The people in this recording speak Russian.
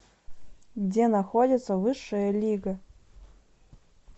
где находится высшая лига